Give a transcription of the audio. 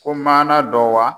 Ko maana dɔ wa?